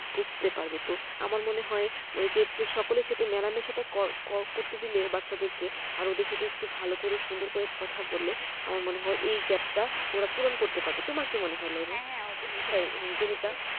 বুঝতে পারবে তো আমার মনে হয়ওই যে একটু সকলের সাথে মেলামেশাটা করা করতে দিলে বাচ্চাদের কে আরো ওদের সাথে একটু ভালো করে সুন্দর করে কথা বললে আমার মনে হয়এই gap টাওরা পূরণ করতে পারবে তোমার কি মনে হয় হ্যাঁ হ্যাঁ অবশ্যই তুমি তা